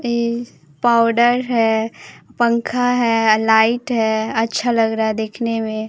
ये पाउडर है पंखा है लाइट है अच्छा लग रहा है देखने में--